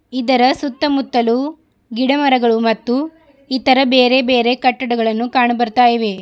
ಇದರ ಸುತ್ತ ಮುತ್ತಲು ಗಿಡ ಮರಗಳು ಮತ್ತು ಇತರ ಬೇರೆ ಬೇರೆ ಕಟ್ಟಡಗಳನ್ನು ಕಾಣ ಬರ್ತಾ ಇವೆ.